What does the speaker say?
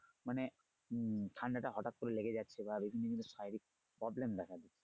মানে উম ঠান্ডা টা হঠাত করে লেগে যাচ্ছে বা বিভিন্ন ধরনের শারীরিক problem দেখা দিচ্ছে।